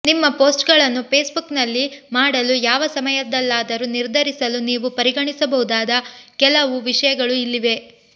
ನಿಮ್ಮ ಪೋಸ್ಟ್ಗಳನ್ನು ಫೇಸ್ಬುಕ್ನಲ್ಲಿ ಮಾಡಲು ಯಾವ ಸಮಯದಲ್ಲಾದರೂ ನಿರ್ಧರಿಸಲು ನೀವು ಪರಿಗಣಿಸಬಹುದಾದ ಕೆಲವು ವಿಷಯಗಳು ಇಲ್ಲಿವೆ